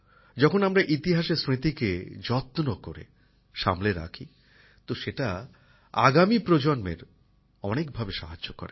যখন আমরা ইতিহাসের স্মৃতিকে যত্ন করে সামলে রাখি তো সেটা আগামী প্রজন্মের অনেক ভাবে সাহায্য করে